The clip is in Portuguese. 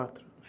Quatro.